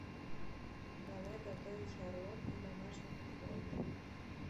давай готовить шарлотку в домашних условиях